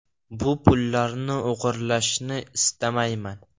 Bu pullarni o‘g‘irlashni istamayman.